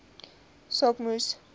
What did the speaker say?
saak moes